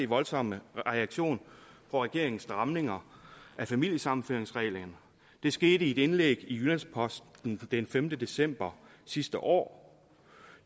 voldsomme reaktion på regeringens stramninger af familiesammenføringsreglerne det skete i et indlæg i jyllands posten den femte december sidste år